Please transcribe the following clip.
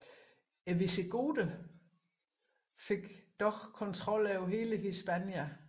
Visigoterne fik dog kontrol over hele Hispania